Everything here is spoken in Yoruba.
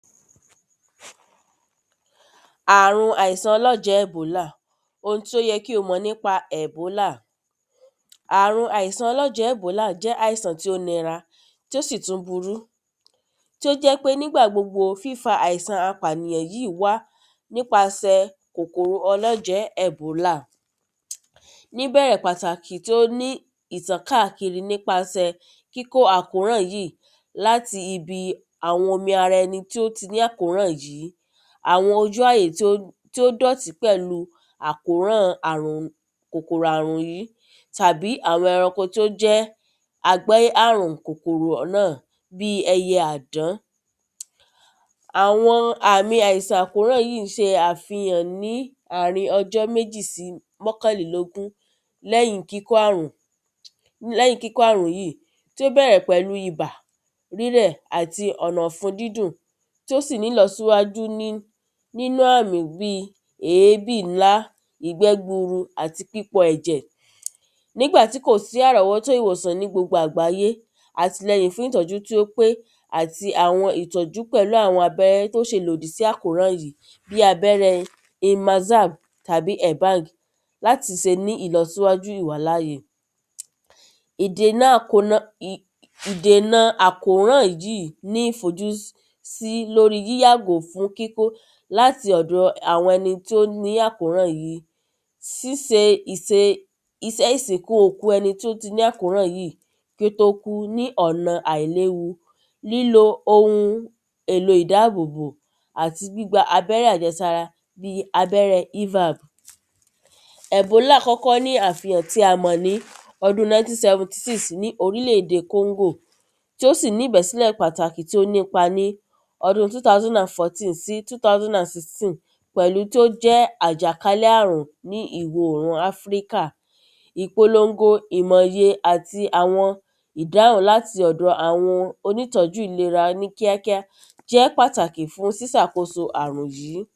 Àrùn àìsàn ọlọ́jẹ́ ẹ̀bólà ohun tí ó yẹ kí o mọ̀ nípa ọlọ́jẹ́ ẹ̀bólà Àrùn àìsàn ọlọ́jẹ́ ẹ̀bólà jẹ́ àìsàn tí ó nira tí ó sì tún burú tí ó jẹ́ pé nígbà gbogbo fífa àìsàn apànìyàn yìí wá nípasẹ̀ kòkòrò ọlọ́jẹ́ ẹ̀bólà. Níbẹ̀rẹ̀ pàtàkì tí ó ní ìtàn kákiri nípasẹ̀ kíkó àkóràn yìí láti ibi àwọn omi ara ẹni tí ó ti ní àkóràn yìí àwọn ojú àyè tí ó dọ̀tí pẹ̀lú kòkòrò àkóràn yìí tàbí àwọn ẹranko tó jẹ́ agbé àrùn kòkòrò náà bí ẹyẹ àdán Àwọn àmi àìsàn àkóràn yìí ń ṣe àfihàn ní àrin ọjọ́ méjì sí mọ́kànlélógún lẹ́yìn kíkó àrùn lẹ́yìn kíkó àrùn yìí tí ó bẹ̀rẹ̀ pẹ̀lú ibà rírẹ̀ àti ọ̀nà ọ̀fun dídùn tí ó sì nílọsíwájú ní nínú àmì bí èbí ńlá ìgbẹ́ gburu àti pípọ ẹ̀jẹ̀. nígbà tí kò sí àrọ́wọ́tó ìwòsàn ní gbogbo àgbáyé àtilẹyìn fún ìtọ́jú tí ó pé àti àwọn ìtọ́jú pẹ̀lú àwọn abẹ́rẹ́ tó ṣe lòdì sí àkóràn yìí bí abẹ́rẹ́? láti se ní ìlọsíwájú ìwà láàyè. Ìdènà akònà ìdènà àkóràn yìí ní ìfojúsí sí lórí yíyàgò fún kíkó láti ọ̀dọ̀ àwọn ẹni tí ó ní àkóràn yìí síse ìse isẹ́ ìsìnkú ẹni tí ó ti ní àkóràn yìí kí ó tó kú ní ọ̀nà àìléwu lílo ohun èlo ìdáàbòbò àti gbígba abẹ́rẹ́ àjẹsára bí abẹ́rẹ́ evap. Ẹ̀bólà kọ́kọ́ ní àfihàn tí a mọ̀ ní ọdún nineteen seventy six ní oríle èdè kóngò tí ó sì ní ìbẹ́sílẹ̀ pàtàkì tí ó nípa ní ọdún two thousand and fourteen sí ọdún two thousand and sixteen pẹ̀lú tí ó jẹ́ àjàkálé àrùn ní ìwọ̀ òrùn áfíríkà ìpolongo ìmọ̀ye àti àwọn ìdáhùn láti ọ̀dọ̀ àwọn onítọ́jú ìlera ní kíá kíá tó jẹ́ pàtàkì fún sísàkóso àrùn yìí.